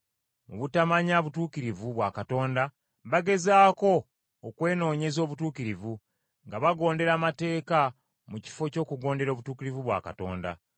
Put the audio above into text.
Mu butamanya butuukirivu bwa Katonda, bagezaako okwenoonyeza obutuukirivu, nga bagondera amateeka mu kifo ky’okugondera obutuukirivu bwa Katonda.